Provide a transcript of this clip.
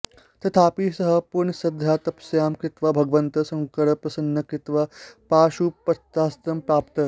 तथापि सः पूर्णश्रद्धया तपस्यां कृत्वा भगवन्तं शङ्करं प्रसन्नं कृत्वा पाशुपतास्त्रं प्रापत्